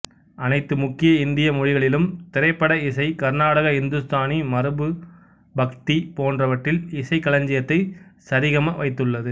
அனைத்து முக்கிய இந்திய மொழிகளிலும் திரைப்பட இசை கர்நாடக இந்துஸ்தானி மரபு பக்தி போன்றவற்றில் இசைக் களஞ்சியத்தை சரிகம வைத்துள்ளது